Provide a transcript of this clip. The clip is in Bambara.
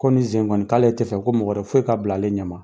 Komi i tɛ fɛ ko mɔgɔ wɛrɛ foyi ka bila a le ɲɛma